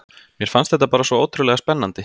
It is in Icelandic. Mér fannst þetta bara svo ótrúlega spennandi.